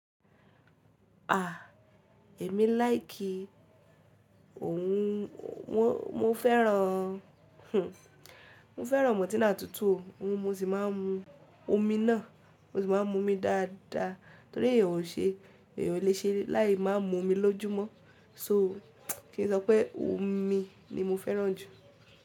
À, èmi láì kí òun. Mo fẹ́ràn, hhn, mo fẹ́ràn mọ́tíǹà tútù o, mo sì má ń mu omi náà, mo sì má ń mu omi dáadáa torí èyan ò ṣe, èyan ò le ṣe láì máa mu omi lójúmọ́. So, kí n sọ pé omi ni mo fẹ́ràn jù.